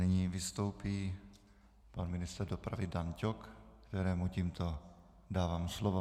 Nyní vystoupí pan ministr dopravy Dan Ťok, kterému tímto dávám slovo.